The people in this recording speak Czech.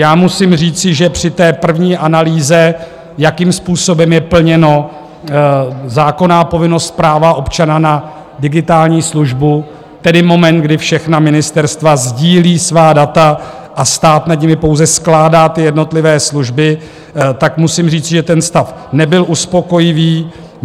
Já musím říci, že při té první analýze, jakým způsobem je plněna zákonná povinnost práva občana na digitální službu, tedy moment, kdy všechna ministerstva sdílí svá data a stát nad nimi pouze skládá ty jednotlivé služby, tak musím říci, že ten stav nebyl uspokojivý.